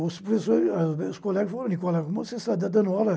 os professores ah. Os meus colegas falaram, Nicola, como sai e está dando aula?